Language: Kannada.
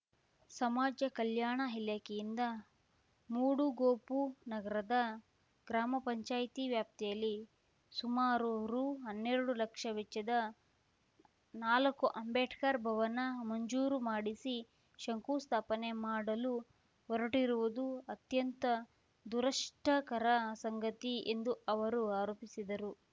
ಸಮಾಜ ಕಲ್ಯಾಣ ಇಲಾಖೆಯಿಂದ ಮೂಡುಗೋಪು ನಗರದ ಗ್ರಾಮ ಪಂಚಾಯ್ತಿ ವ್ಯಾಪ್ತಿಯಲ್ಲಿ ಸುಮಾರು ರುಹನ್ನೆರಡು ಲಕ್ಷ ವೆಚ್ಚದ ನಾಲಕ್ಕು ಅಂಬೇಡ್ಕರ್‌ ಭವನ ಮಂಜೂರು ಮಾಡಿಸಿ ಶಂಕುಸ್ಥಾಪನೆ ಮಾಡಲು ಹೊರಟಿರುವುದು ಅತ್ಯಂತ ದುರಷ್ಟಕರ ಸಂಗತಿ ಎಂದು ಅವರು ಆರೋಪಿಸಿದರು